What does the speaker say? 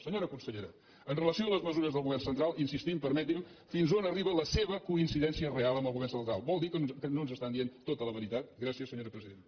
senyora consellera amb relació a les mesures del govern central hi insistim permeti’m fins on arriba la seva coincidència real amb el govern central vol dir que no ens estan dient tota la veritat gràcies senyora presidenta